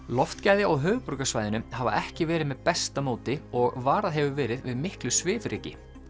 loftgæði á höfuðborgarsvæðinu hafa ekki verið með besta móti og varað hefur verið við miklu svifryki